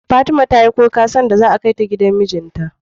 Fatima tayi kuka lokacin da za a kai ta gidan mijinta